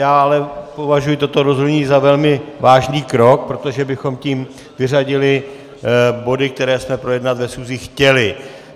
Já ale považuju toto rozhodnutí za velmi vážný krok, protože bychom tím vyřadili body, které jsme projednat ve schůzi chtěli.